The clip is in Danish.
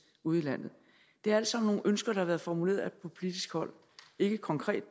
ude i landet det er alt sammen nogle ønsker der har været formuleret fra politisk hold ikke konkret